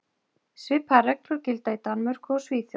Svipaðar reglur gilda í Danmörku og Svíþjóð.